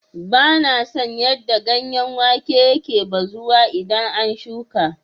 Bana son yadda ganyen wake yake bazuwa idan an shuƙa.